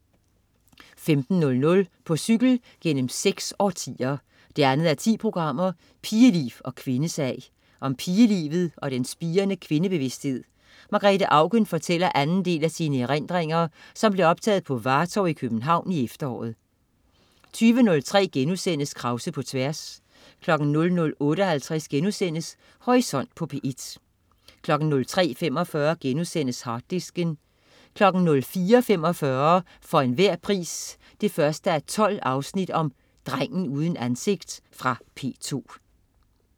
15.00 På cykel gennem seks årtier 2:10. Pigeliv og kvindesag. Om pigelivet og den spirende kvindebevidsthed. Margrethe Auken fortæller anden del af sine erindringer, som blev optaget på Vartov i København i efteråret 20.03 Krause på tværs* 00.58 Horisont på P1* 03.45 Harddisken* 04.45 For enhver pris 1:12. Drengen uden ansigt. Fra P2